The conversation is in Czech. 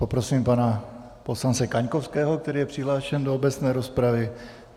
Poprosím pana poslance Kaňkovského, který je přihlášen do obecné rozpravy.